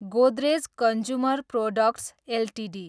Godrej consumer products Ltd